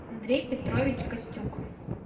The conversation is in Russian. андрей петрович костюк